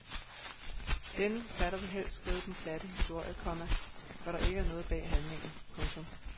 Denne forfatter vil helst skrive den glatte historie, komma hvor der ikke er noget bag handlingen. punktum